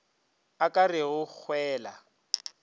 a ka re go hwela